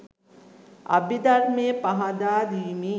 අභිධර්මය පහදා දීමේ